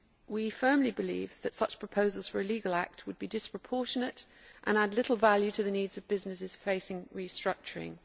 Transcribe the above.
We firmly believe that such proposals for a legal act would be disproportionate and add little value to the needs of businesses facing restructuring.